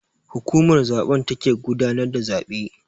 Hukumar zaben take gudanar da zabe.